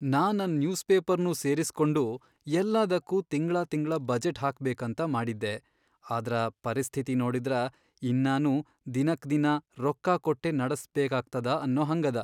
ನಾ ನನ್ ನ್ಯೂಸ್ ಪೇಪರ್ನೂ ಸೇರಿಸ್ಕೊಂಡು ಯಲ್ಲಾದಕ್ಕೂ ತಿಂಗ್ಳಾತಿಂಗ್ಳಾ ಬಜೆಟ್ ಹಾಕ್ಬೇಕಂತ ಮಾಡಿದ್ದೆ, ಆದ್ರ ಪರಿಸ್ಥಿತಿ ನೋಡಿದ್ರ ಇನ್ನಾನೂ ದಿನಕ್ದಿನಾ ರೊಕ್ಕ ಕೊಟ್ಟೇ ನಡಸ್ಬೇಕಾಗ್ತದ ಅನ್ನೋ ಹಂಗದ.